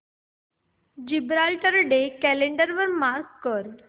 Gibraltar day calendar वर mark कर